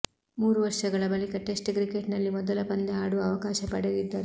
ಮೂರು ವರ್ಷಗಳ ಬಳಿಕ ಟೆಸ್ಟ್ ಕ್ರಿಕೆಟ್ನಲ್ಲಿ ಮೊದಲ ಪಂದ್ಯ ಆಡುವ ಅವಕಾಶ ಪಡೆದಿದ್ದರು